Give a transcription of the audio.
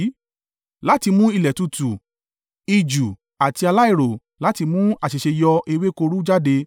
láti mú ilẹ̀ tútù, ijù àti aláìro láti mú àṣẹ̀ṣẹ̀yọ ewéko rú jáde?